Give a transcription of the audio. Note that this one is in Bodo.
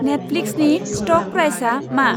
नेटफ्लिक्सनि स्ट'क प्राइसआ मा?